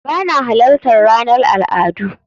Ba na halartar ranar al'adu